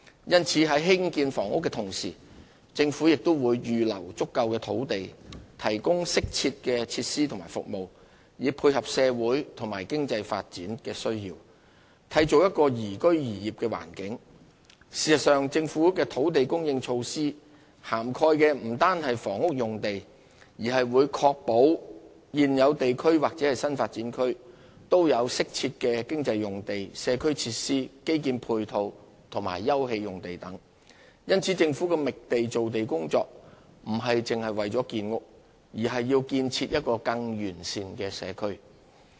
因此，政府在興建房屋的同時，亦會預留足夠土地，提供適切的設施和服務，以配合社會和經濟發展需要，從而締造一個宜居宜業的環境。事實上，政府的土地供應措施不單涵蓋房屋用地，亦會確保現有地區或新發展區都有適切的經濟用地、社區設施、基建配套及休憩用地等。因此，政府的覓地造地工作不只是為了建屋，而是為建設更完善的社區。